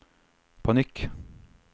panikk